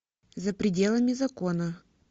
за пределами закона